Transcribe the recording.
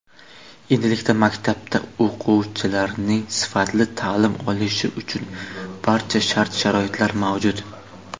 Endilikda maktabda o‘quvchilarning sifatli ta’lim olishi uchun barcha shart-sharoitlar mavjud.